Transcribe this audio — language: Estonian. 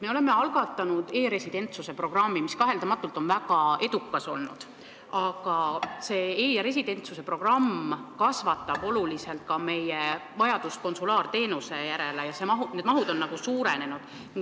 Me oleme algatanud e-residentsuse programmi, mis on kaheldamatult olnud väga edukas, aga e-residentsuse programm kasvatab oluliselt ka meie vajadust konsulaarteenuse järele ja need mahud on suurenenud.